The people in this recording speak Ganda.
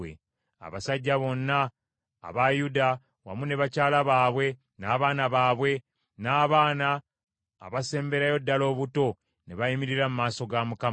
Abasajja bonna aba Yuda, wamu ne bakyala baabwe, n’abaana baabwe, n’abaana abasemberayo ddala obuto, ne bayimirira mu maaso ga Mukama .